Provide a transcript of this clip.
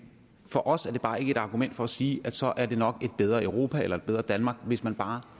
for os er det bare ikke et argument for at sige at så er det nok et bedre europa eller et bedre danmark hvis man bare